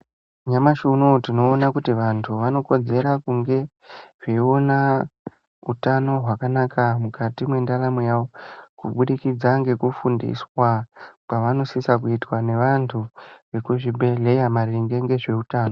Nyamashi unowu tinoona kuti vantu vanokodzera kunge vayiona hutano hwana mukati mwendaramo yavo kubudikidza kuitwa kwavanodiso kuitwa nevantu vemuzvibhedhlera maringe ngezveutano.